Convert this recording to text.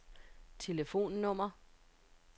telefonnummer